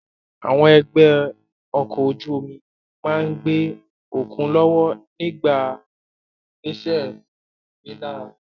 Àwọn ẹgbẹ́ ọkọ̀ ojú omi máa ń gbé okùn lọ́wọ́ nígbà ìgbésẹ̀ ìgbéléra